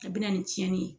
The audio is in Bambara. A bɛ na ni cɛnni ye